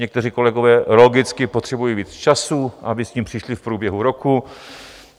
Někteří kolegové logicky potřebují víc času, aby s tím přišli v průběhu roku.